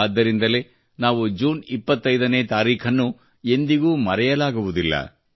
ಆದ್ದರಿಂದಲೇ ನಾವು ಜೂನ್ 25 ನೇ ತಾರೀಖನ್ನು ಎಂದಿಗೂ ಮರೆಯಲಾಗುವುದಿಲ್ಲ